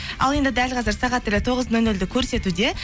ал енді дәл қазір сағат тілі тоғыз нөл нөлді көрсетуде